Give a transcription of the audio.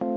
a e g